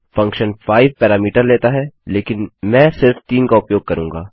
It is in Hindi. फंक्शन 5 पैरामीटर लेता है लेकिन में सिर्फ 3 का उपयोग करूँगा